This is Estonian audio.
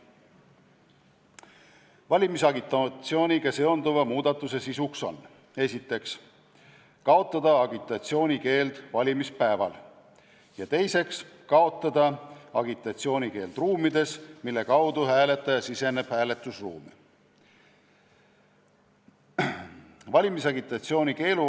Valimisagitatsiooniga seonduva muudatuse sisuks on esiteks, kaotada agitatsiooni keeld valimispäeval, ja teiseks, kaotada agitatsiooni keeld ruumides, mille kaudu hääletaja siseneb hääletusruumi.